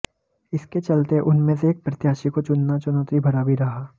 इसके चलते उनमें से एक प्रत्याशी को चुनना चुनौती भरा भी रहा